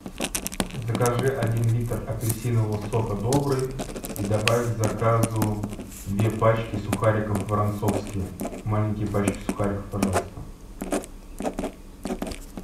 закажи один литр апельсинового сока добрый и добавь к заказу две пачки сухариков воронцовские маленькие пачки сухариков пожалуйста